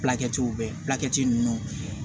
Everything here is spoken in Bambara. Fulakɛtiw bɛ ninnu